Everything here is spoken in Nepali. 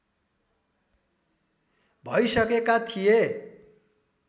भइसकेका थिए